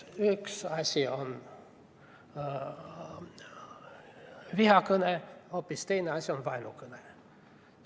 Üks asi on vihakõne, hoopis teine asi on vaenukõne.